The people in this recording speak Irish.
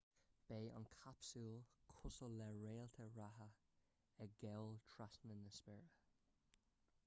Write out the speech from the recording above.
beidh an capsúl cosúil le réalta reatha ag gabháil trasna na spéire